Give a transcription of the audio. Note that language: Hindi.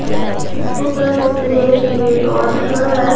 इसको कह सकते हैं कि ये रॉड का है।